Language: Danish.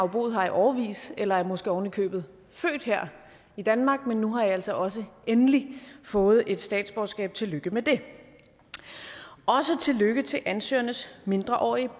boet her i årevis eller er måske ovenikøbet født her i danmark men nu har i altså også endelig fået et statsborgerskab og tillykke med det også tillykke til ansøgernes mindreårige